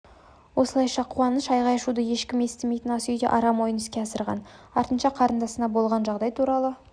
осылайша қуаныш айғай-шуды ешкім естімейтін ас үйде арам ойын іске асырған артынша қарындасына болған жағдай туралы